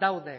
daude